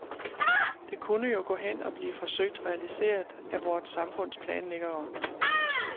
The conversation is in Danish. Det kunne jo gå hen og blive forsøgt realiseret af vort samfunds planlæggere.